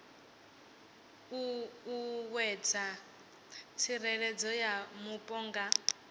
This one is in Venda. ṱuṱuwedza tsireledzo ya mupo na